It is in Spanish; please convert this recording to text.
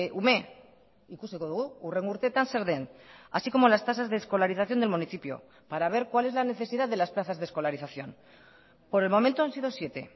ume ikusiko dugu hurrengo urteetan zer den así como las tasas de escolarización del municipio para ver cuál es la necesidad de las plazas de escolarización por el momento han sido siete